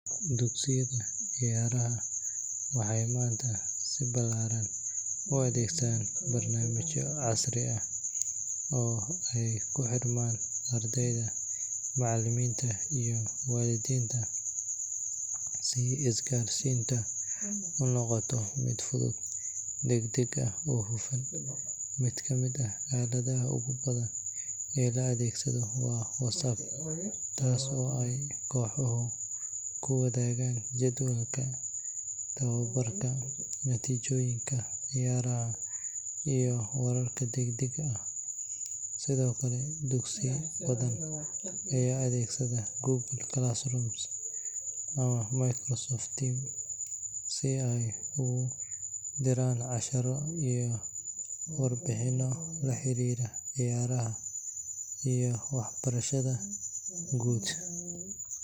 Dugsiyada ciyaaraha waxay maanta si ballaaran u adeegsadaan barnaamijyo casri ah oo ay ku xirmaan ardayda, macallimiinta, iyo waalidiinta si isgaarsiinta u noqoto mid fudud, degdeg ah oo hufan. Mid ka mid ah aaladaha ugu badan ee la adeegsado waa WhatsApp, taas oo ay kooxuhu ku wadaagaan jadwalka tababarka, natiijooyinka ciyaaraha iyo wararka degdega ah. Sidoo kale, dugsiyo badan ayaa adeegsada Google Classroom ama Microsoft Teams si ay ugu diraan casharro iyo warbixino la xiriira ciyaaraha iyo waxbarashada guud.